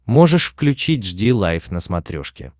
можешь включить жди лайв на смотрешке